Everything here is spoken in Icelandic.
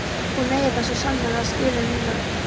Hún eigi það svo sannarlega skilið núna.